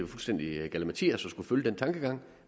fuldstændig galimatias at skulle følge den tankegang